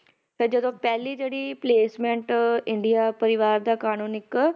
ਤਾਂ ਜਦੋਂ ਪਹਿਲੀ ਜਿਹੜੀ placement ਇੰਡੀਆ ਪਰਿਵਾਰ ਦਾ ਕਾਨੂੰਨ ਇੱਕ